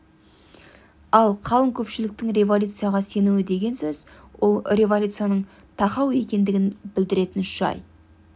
ал қалың көпшіліктің революцияға сенуі деген сөз ол революцияның тақау екендігін білдіретін жай